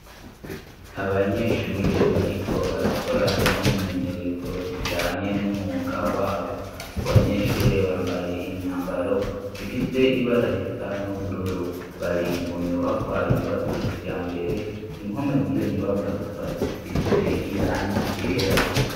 Abanyeshure bariko barakora imyimenyerezo ijanye n'umwuga wabo. Abo banyeshure bambaye imyambaro ifise ibara risa n'ubururu. Bari mu nyubakwa yubatswe kijambere, impome z' iyo nyubakwa zikaba zisize irangi ryera.